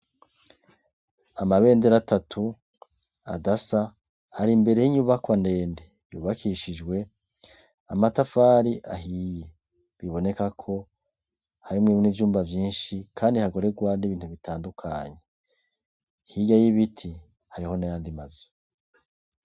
Amabendera atatu adasa ari imbere y’ibyubakwa ndende, yubakishijwe amatafari ahiye biboneka ko harimwo n’ivyumba vyinshi kandi hakorerwa n’ibintu bitandukanye, hirya y’ibiti hariyo n’ayandi mazu.